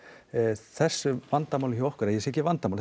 þessu vandamáli hjá okkur ég segi ekki vandamál